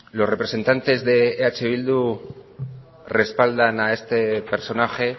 los representantes de eh bildu respaldan a este personaje